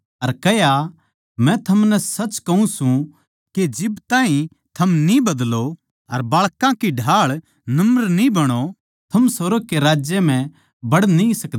अर कह्या मै थमनै सच कहूँ सूं के जिब ताहीं थम न्ही बदलो अर बाळकां की ढाळ नम्र न्ही बणो थम सुर्ग कै राज्य म्ह बड़ न्ही सकदे